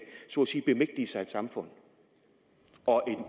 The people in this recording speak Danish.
bemægtige sig et samfund og